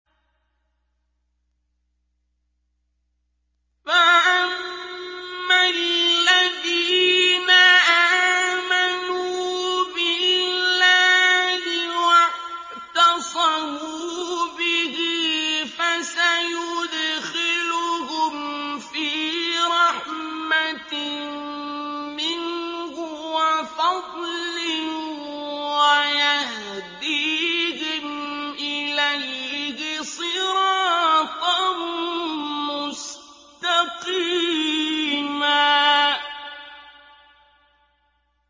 فَأَمَّا الَّذِينَ آمَنُوا بِاللَّهِ وَاعْتَصَمُوا بِهِ فَسَيُدْخِلُهُمْ فِي رَحْمَةٍ مِّنْهُ وَفَضْلٍ وَيَهْدِيهِمْ إِلَيْهِ صِرَاطًا مُّسْتَقِيمًا